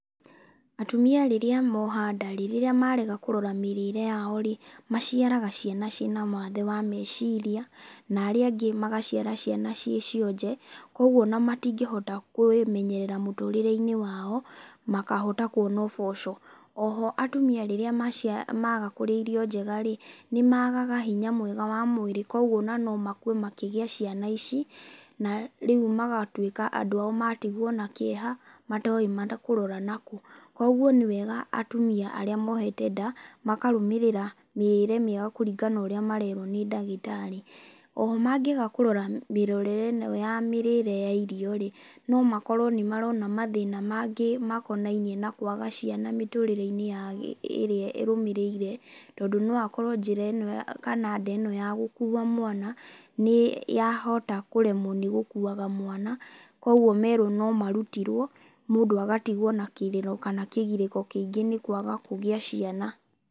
Atumia rĩrĩa moha nda rĩ, rĩrĩa marega kũrora mĩrĩre yao rĩ, maciaraga ciana ciĩna mawathe wa meciria na aria angĩ magaciara ciana ciĩ cionje, koguo ona matingĩhota kwĩmenyerera mũtũrĩre-inĩ wao, makahota kwona ũboco. Oho atumia rĩrĩa macia maga kũrĩa irio njegarĩ, nĩ magaga hinya mwega wa mwĩrĩ koguo ona no makue makĩgĩa ciana na rĩũ magatwĩka andũ ao matigwo na kĩeha, matoĩ mata makũrora nakũ. Koguo nĩ wega atumia arĩa mohete nda makarũmĩrĩra mĩrire mĩega kũringana na ũrĩa mererwo nĩ ndagĩtarĩ. Oho mangĩaga kũrora mĩrorere ĩno ya mĩrĩre ya irio rĩ, no makorwo nĩ marona mathĩna mangĩ makonainie na kwaga ciana mĩtũrire-inĩ ya gĩ ĩrĩa ĩrũmirĩire, tondũ no akorwo njĩra ĩno kana nda ĩno ya gũkua mwana, nĩ yahota kũremwo nĩ gũkuaga mwana koguo merwo no marutirwo, mũndũ agatigwo na kĩrĩro kana kĩgirĩko kĩingĩ nĩ kwaga kũgĩa ciana.